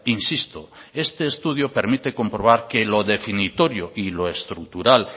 insisto este estudio permite comprobar que lo definitorio y lo estructural